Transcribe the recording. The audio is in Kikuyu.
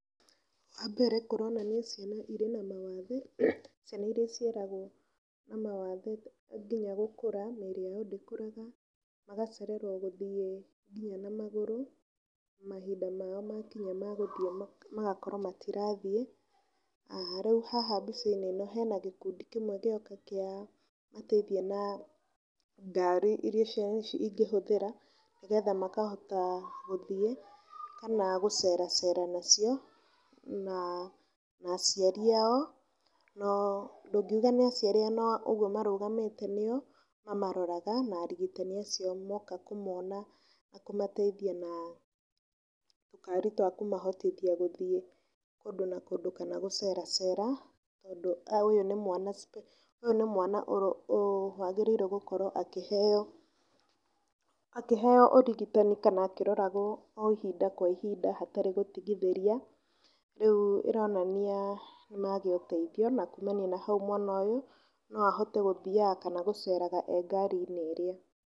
Wa mbere kũronania ciana ĩrĩ na mawathe. Ciana iria ciaragwo na mawathe nginya gũkũra, mĩĩrĩ yao ndĩkũraga. Magacererwo gũthiĩ nginya na magũrũ mahinda mao makinya ma gũthiĩ magakorwo matirathiĩ. Rĩu haha mbica-inĩ ĩno hena gĩkundi kĩmwe gĩoka kiamateithia na ngaari iria ciana ici ingĩhũthĩra nĩ getha makahota gũthiĩ, kana gũceracera nacio. Na, na aciari ao, no ndũngiuga nĩ aciari ao no ũguo marũgamĩĩte nio mamaroraga na arigitani acio moka kũmona naa kũmateithia na tũkaari twa kũmahotithia gũthiĩ kũndũ na kũndũ kana guceracera. Tondũ ũyũ nĩ mwana wagĩrĩire gũkorwo akĩheo, akĩheo ũrigitani kana akĩroragwo o ihinda kwa ihinda hatarĩ gũtigithĩria. Rĩu ĩronania nĩmagĩa ũteithio na kumania na hau mwana ũyũ no ahote gũthiaga kana gũceraga e ngari-inĩ ĩrĩa.